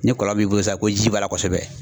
Ni kɔlɔn b'i bolo sisan ko ji b'a la kosɛbɛ